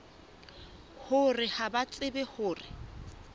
hore ha ba tsebe hore